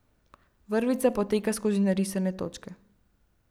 Vrvica poteka skozi narisane točke.